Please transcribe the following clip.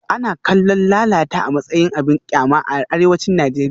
Ana kallon lalata a matsayin abin kyama a arewacin Najeriya